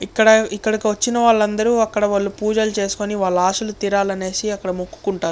ఇక్కడ ఇక్కడికి వచ్చిన వాళ్ళందరూ అక్కడ వాళ్ళు పూజలు చేసుకొని వాళ్ళ ఆశలు తీరాలని అక్కడ మొక్కుకుంటారు.